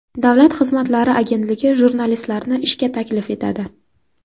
Davlat xizmatlari agentligi jurnalistlarni ishga taklif etadi.